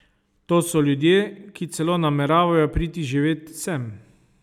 To so ljudje, ki celo nameravajo priti živet sem.